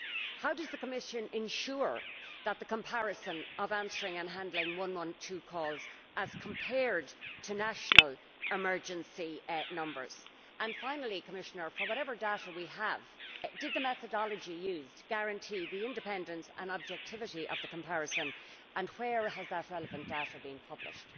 How does the Commission ensure the effectiveness of answering and handling 112 calls as compared to national emergency numbers? Finally, Commissioner, for whatever data we have, did the methodology used guarantee the independence and objectivity of the comparison and where has that relevant data been published?